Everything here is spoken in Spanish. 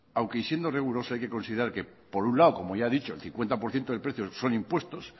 aunque siendo riguroso hay que considerar que por un lado como ya he dicho el cincuenta por ciento del precio son impuestos